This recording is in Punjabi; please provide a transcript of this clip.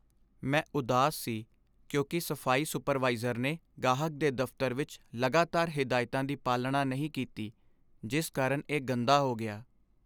ਮੈਂ ਉਦਾਸ ਸੀ ਕਿਉਂਕਿ ਸਫਾਈ ਸੁਪਰਵਾਈਜ਼ਰ ਨੇ ਗਾਹਕ ਦੇ ਦਫਤਰ ਵਿਚ ਲਗਾਤਾਰ ਹਦਾਇਤਾਂ ਦੀ ਪਾਲਣਾ ਨਹੀਂ ਕੀਤੀ ਜਿਸ ਕਾਰਨ ਇਹ ਗੰਦਾ ਹੋ ਗਿਆ।